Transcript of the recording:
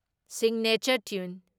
Signature ꯇ꯭ꯌꯨꯟ ꯫